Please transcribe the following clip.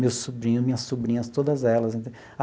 Meus sobrinhos, minhas sobrinhas, todas elas.